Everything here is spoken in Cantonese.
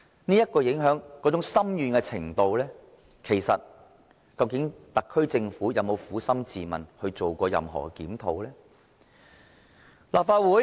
對於這種影響深遠的程度，究竟特區政府有否撫心自問，做過任何檢討呢？